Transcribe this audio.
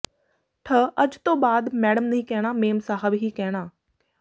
ਠਅੱਜ ਤੋਂ ਬਾਅਦ ਮੈਂਡਮ ਨਹੀਂ ਕਹਿਣਾ ਮੇਮ ਸਾਹਬ ਹੀ ਕਹਿਣਾੂ